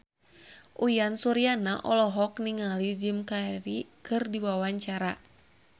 Uyan Suryana olohok ningali Jim Carey keur diwawancara